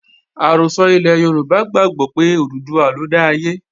Àrọ́sọ ilẹ̀ Yorùbá gbàgbó pé Òdùduwà lọ dá ayé